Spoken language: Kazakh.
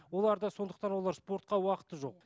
оларда сондықтан олар спортқа уақыты жоқ